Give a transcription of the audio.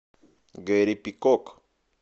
гэри пикок